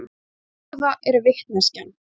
Það góða er vitneskjan.